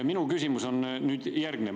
Minu küsimus on järgnev.